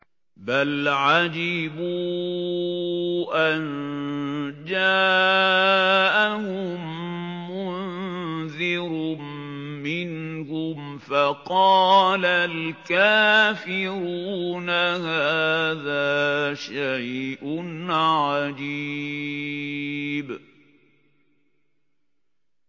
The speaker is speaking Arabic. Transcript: بَلْ عَجِبُوا أَن جَاءَهُم مُّنذِرٌ مِّنْهُمْ فَقَالَ الْكَافِرُونَ هَٰذَا شَيْءٌ عَجِيبٌ